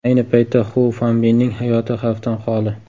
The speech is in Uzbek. Ayni paytda Xu Fanbinning hayoti xavfdan xoli.